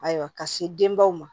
Ayiwa ka se denbaw ma